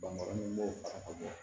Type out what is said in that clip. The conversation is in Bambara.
Bankɔrɔ min b'o a bɔ